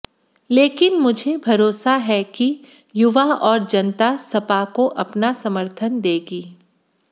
लेकिन मुझे भरोसा है कि युवा और जनता सपा को अपना समर्थन देगी